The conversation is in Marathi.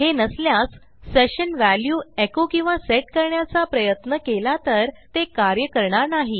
हे नसल्यास सेशन व्हॅल्यू एको किंवा सेट करण्याचा प्रयत्न केला तर ते कार्य करणार नाही